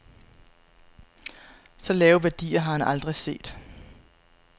Så lave værdier har han aldrig set.